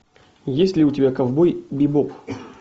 есть ли у тебя ковбой бибоп